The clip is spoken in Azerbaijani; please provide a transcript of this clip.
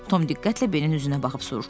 Tom diqqətlə Benin üzünə baxıb soruşdu.